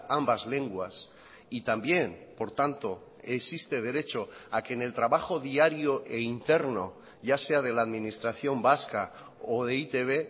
ambas lenguas y también por tanto existe derecho a que en el trabajo diario e interno ya sea de la administración vasca o de e i te be